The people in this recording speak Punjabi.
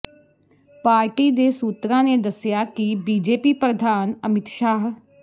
ਪਾਰਟੀ ਦੇ ਸੂਤਰਾਂ ਨੇ ਦੱਸਿਆ ਕਿ ਬੀਜੇਪੀ ਪ੍ਰਧਾਨ ਅਮਿਤ ਸ਼ਾਹ